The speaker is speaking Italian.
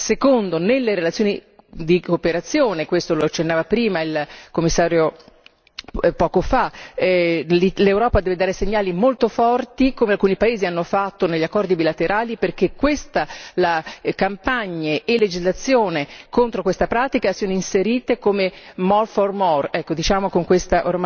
Secondo nelle relazioni di cooperazione questo lo accennava prima il Commissario l'Europa deve dare segnali molto forti come alcuni paesi hanno fatto negli accordi bilaterali, perché questa campagna e la legislazione contro questa pratica siano inserite come more for more ecco, diciamo con questo